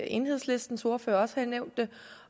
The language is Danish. enhedslistens ordfører også har nævnt det